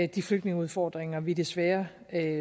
de flygtningeudfordringer vi desværre